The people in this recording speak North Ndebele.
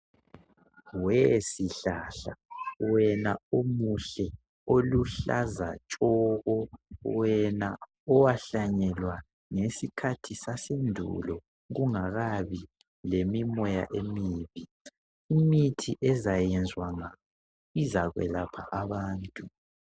We sihlahla wena omuhle oluhlaza tshoko. Wena owahlanyelwa ngesikhathi sasendulo kungakabi lemimoya emibi. Imithi ezakwenzwanga izakwelapha abantu.